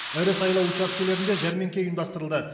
ірі сайлау учаскелерінде жәрмеңке ұйымдастырылды